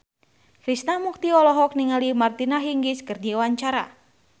Krishna Mukti olohok ningali Martina Hingis keur diwawancara